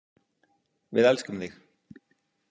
Við elskum þig.